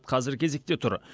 қазір кезекте тұр